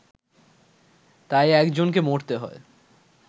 তাই একজনকে মরতে হয়